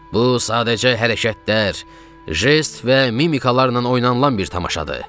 Bu sadəcə hərəkətlər, jest və mimikalarla oynanılan bir tamaşadır.